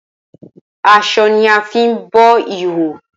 Aso ni a fi bo ihoho.